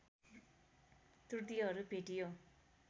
त्रुटिहरू भेटियो